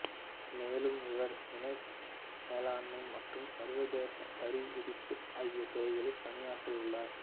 மேலும் இவர் இணக்க மேலாண்மை மற்றும் சர்வதேச வரிவிதிப்பு ஆகிய துறைகளில் பணியாற்றியுள்ளார்